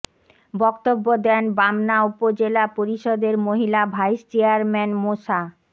বক্তব্য দেন বামনা উপজেলা পরিষদের মহিলা ভাইস চেয়ারম্যান মোসা